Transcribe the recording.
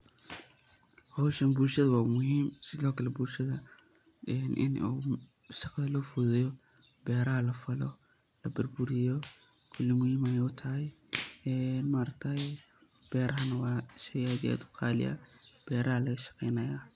Howshan bulshadha wa umuhiim sidhokale bulshadhaa ina oo shaqadha lofadhudheyo ,beeraha lafalo, labuurburiyo kuli muhiim aay utahay, beerahan wa sheey aad iyo aad qalii u ah beeraha lagashaqeynaya.